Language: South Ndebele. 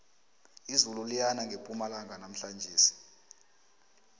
izulu liyana ngepumalanga namhlanjesi